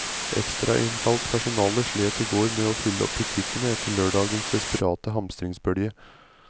Ekstrainnkalt personale slet i går med å fylle opp butikkene etter lørdagens desperate hamstringsbølge.